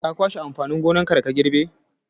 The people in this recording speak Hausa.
Ka kwashe amfanin gonar da ka girbe!